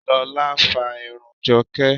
Lola fa irun Joke.